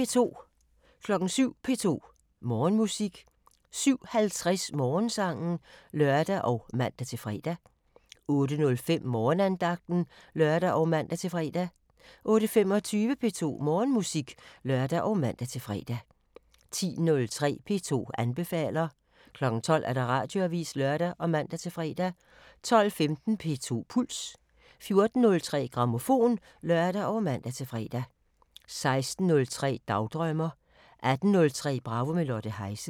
07:03: P2 Morgenmusik 07:50: Morgensangen (lør og man-fre) 08:05: Morgenandagten (lør og man-fre) 08:25: P2 Morgenmusik (lør og man-fre) 10:03: P2 anbefaler 12:00: Radioavisen (lør og man-fre) 12:15: P2 Puls 14:03: Grammofon (lør og man-fre) 16:03: Dagdrømmer 18:03: Bravo – med Lotte Heise